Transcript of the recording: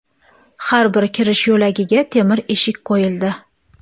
Har bir kirish yo‘lagiga temir eshik qo‘yildi.